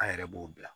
An yɛrɛ b'o bila